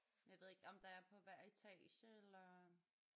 Jeg ved ikke om der er på hver etage eller